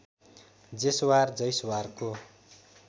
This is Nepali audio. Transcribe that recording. जेसवार जैसवारको